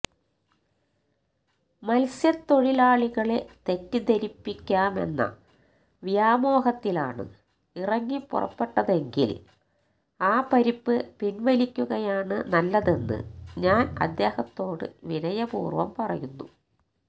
മത്സ്യത്തൊഴിലാളികളെ തെറ്റിദ്ധരിപ്പിക്കാമെന്ന വ്യാമോഹത്തിലാണ് ഇറങ്ങിപ്പുറപ്പെട്ടതെങ്കില് ആ പരിപ്പ് പിന്വലിക്കുകയാണ് നല്ലതെന്ന് ഞാന് അദ്ദേഹത്തോട് വിനയപൂര്വ്വം പറയുന്നു